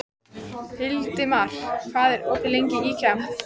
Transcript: Hildimar, hvað er opið lengi í IKEA?